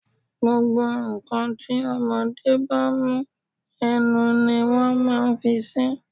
Gbogbo ǹ kan tí ọmọdé bá mú, ẹnu ni wón máa ń fi sí.